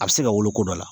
A bɛ se ka wolo ko dɔ la